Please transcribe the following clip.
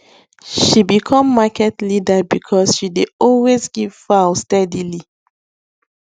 she become market leader because she dey always give fowl steadily